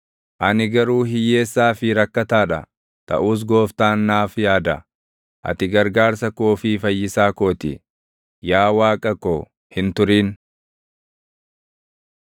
Ani garuu hiyyeessaa fi rakkataa dha; taʼus Gooftaan naaf yaada. Ati gargaarsa koo fi fayyisaa koo ti; yaa Waaqa ko, hin turin.